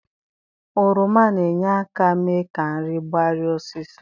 Oroma na-enye aka mee ka nri gbarie osịso.